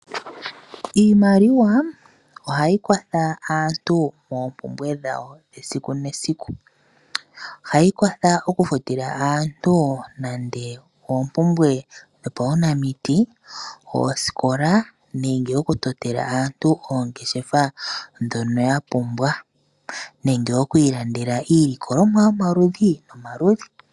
Iimaliwa ohayi kwatha aantu moompumbwe dhawo dhesiku nesiku. Ohayi kwatha okufutila aantu nande oompumbwe dhopaunamiti, oosikola nenge okutotela aantu oongeshefa dhono ya pumbwa. Nenge oku ilandela iilikolomwa yomaludhi nomaludhi.